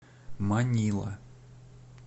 манила